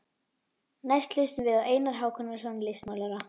Næst hlustum við á Einar Hákonarson listmálara.